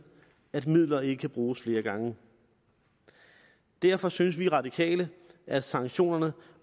at midler ikke kan bruges flere gange derfor synes vi radikale at sanktionerne